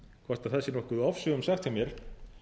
hvort það sé nokkuð ofsögum sagt hjá mér